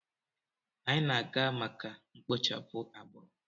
Anyị na-aga maka mkpochapụ agbụrụ.